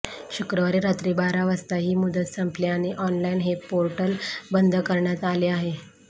शुक्रवारी रात्री बारा वाजता ही मुदत संपली आणि ऑनलाईन हे पोर्टल बंद करण्यात आले आहे